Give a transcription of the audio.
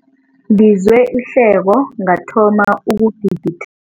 Ngizwe ihleko ngathoma ukugigi